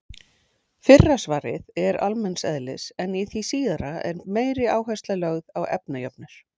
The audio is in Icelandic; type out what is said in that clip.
Fyrra svarið er almenns eðlis en í því síðara er meiri áhersla lögð á efnajöfnur.